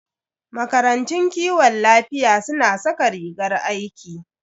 Makarantun kiwon lafiya suna saka rigar aiki.